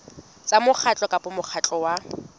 tsa mokgatlo kapa mokgatlo wa